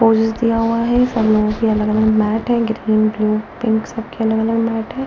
Poses दिया हुआ है सब लोगों के अलग-अलग मैट है ग्रीन ब्लू पिंक सब के अलग-अलग मैट है।